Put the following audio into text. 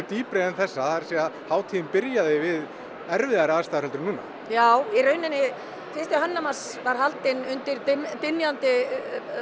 dýpri en þessa það er að hátíðin byrjaði við erfiðari ástæður en núna já í raun fyrsti Hönnunarmars var haldinn undir dynjandi